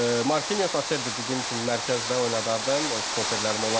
Marquinhos Acerbi dediyim kimi mərkəzdə oynadardım, stoperlərim onlar olardı.